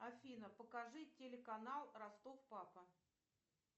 афина покажи телеканал ростов папа